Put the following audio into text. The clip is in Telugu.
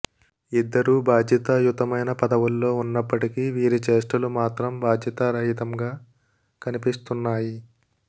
ఇద్దరూ బాధ్యతాయుతమైన పదవుల్లో ఉన్నప్పటికీ వీరి చేష్టలు మాత్రం బాధ్యతా రాహిత్యంగా కనిపిస్తున్నాయి